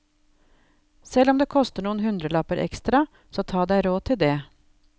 Selv om det koster noen hundrelapper ekstra, så ta deg råd til det.